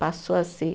Passou a ser.